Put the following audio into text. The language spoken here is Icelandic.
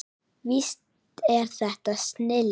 Víst er þetta snilld.